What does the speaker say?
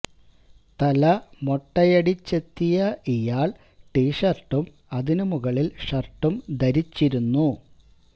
തല മൊട്ടയടിച്ചെത്തിയ ഇയാൾ ടീ ഷർട്ടും അതിനു മുകളിൽ ഷർട്ടും ധരിച്ചിരുന്നു